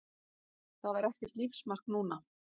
Það var ekkert lífsmark núna.